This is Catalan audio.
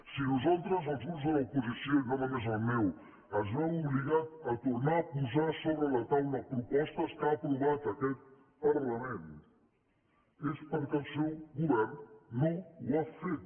si nosaltres els grups de l’oposició i no només el meu es veuen obligats a tornar a posar sobre la taula propostes que ha aprovat aquest parlament és perquè el seu govern no les ha fet